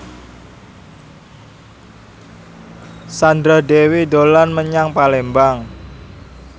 Sandra Dewi dolan menyang Palembang